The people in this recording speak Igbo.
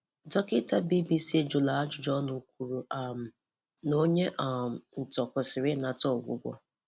Dọkịta BBC jụrụ ajụjụ ọnụ kwuru um na onye um ntọ kwesịrị inata ọgwụgwọ.